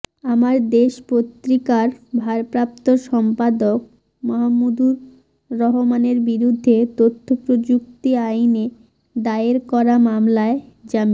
আমার দেশ পত্রিকার ভারপ্রাপ্ত সম্পাদক মাহমুদুর রহমানের বিরুদ্ধে তথ্য প্রযুক্তি আইনে দায়ের করা মামলায় জামিন